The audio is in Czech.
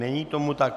Není tomu tak.